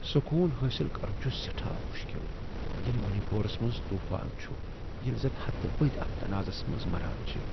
سکون حاصل کرُن چُھ سیٹھاہ مشکل ییلہِ منی پورس منز طوفان چھُ، ییلہ زن ہتہٕ بٔدی اتھ تنازعس منز مران چھِِ ۔